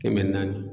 Kɛmɛ naani